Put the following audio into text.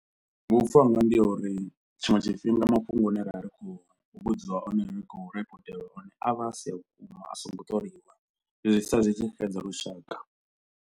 Vhupfhiwa hanga ndi ha uri tshiṅwe tshifhinga mafhungo ane ra vha ri khou vhudziwa one ri khou ripoteliwa one avha a si a vhukuma a songo ṱoliwa, zwi sia zwi tshi xedza lushaka.